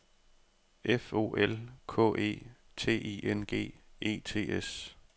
F O L K E T I N G E T S